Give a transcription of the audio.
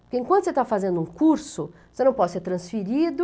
Porque enquanto você está fazendo um curso, você não pode ser transferido.